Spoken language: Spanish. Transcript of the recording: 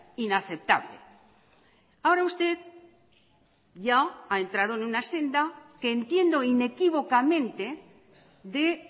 inaceptable ahora usted ya ha entrado en una senda que entiendo inequívocamente de